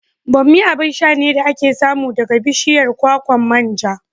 Bammi abin sha ne da ake samu daga bishiyar kwakwan manja.